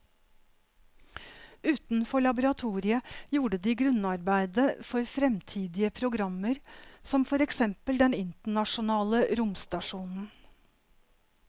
Utenfor laboratoriet gjorde de grunnarbeidet for fremtidige programmer som for eksempel den internasjonale romstasjonen.